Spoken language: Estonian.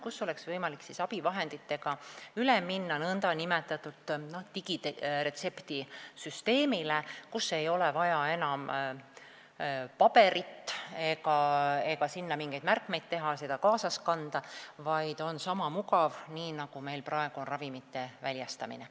Siis on võimalik abivahenditega üle minna nn digiretseptisüsteemile, ei ole enam vaja paberit, kuhu tuleb mingeid märkmeid teha ja mida tuleb kaasas kanda, vaid see süsteem on sama mugav, nagu praegu on ravimite väljastamine.